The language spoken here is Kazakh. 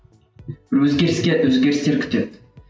өзгеріске өзгерістер күтеді